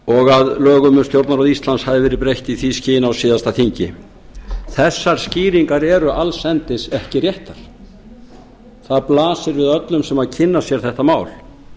og að lögum um stjórnarráð íslands hafi verið breytt í því skyni á síðasta þingi þessar skýringar eru alls endis ekki réttar það blasir við öllum sem kynna sér þetta mál